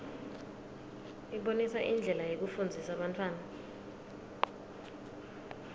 ibonisa indlela yekufundzisa bantfwana